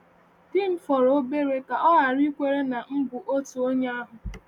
Di m fọrọ obere ka ọ ghara ikwere na m bụ otu onye ahụ.